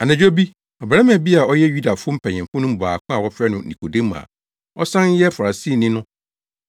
Anadwo bi, ɔbarima bi a ɔyɛ Yudafo mpanyimfo no mu baako a wɔfrɛ no Nikodemo a ɔsan yɛ Farisini no,